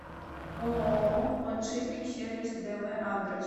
ооо подшипник сервис дв адрес